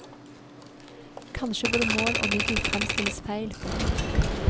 Kanskje både mål og middel fremstilles feil. punktum